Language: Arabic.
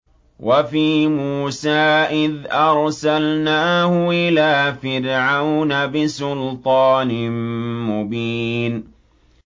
وَفِي مُوسَىٰ إِذْ أَرْسَلْنَاهُ إِلَىٰ فِرْعَوْنَ بِسُلْطَانٍ مُّبِينٍ